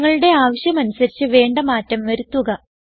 നിങ്ങളുടെ ആവശ്യമനുസരിച്ച് വേണ്ട മാറ്റം വരുത്തുക